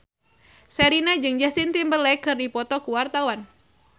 Sherina jeung Justin Timberlake keur dipoto ku wartawan